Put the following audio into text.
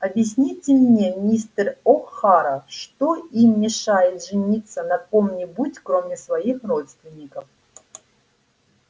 объясните мне мистер охара что им мешает жениться на ком-нибудь кроме своих родственников